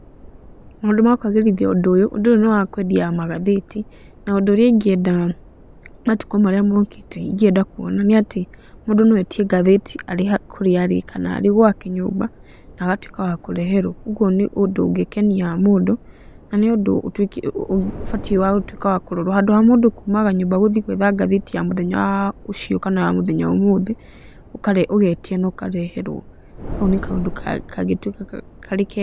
Maũndũ ma kwagĩrithia ũndũ ũyũ, ũndũ ũyũ nĩ wa kwendia magathĩti. Na ũndũ ũrĩa ingĩenda matukũ marĩa mookĩte ingĩenda kuona nĩ atĩ, mũndũ no etie ngathĩti arĩ o kũrĩa arĩ kana arĩ gwake nyũmba na agatuĩka wa kũreherwo. Ũguo nĩ ũndũ ũngĩkenia mũndũ, na nĩ ũndũ ũtuĩkĩte ũbatiĩ wa gũtuĩka wa kũrorwo. Handũ ha mũndũ kumaga nyũmba gũthiĩ gwetha ngathĩti ya mũthenya ũcio kana mũthenya wa ũmũthĩ, ũgetia na ũkareherwo, Kau nĩ kaũndũ kangĩtuĩka karĩ kega.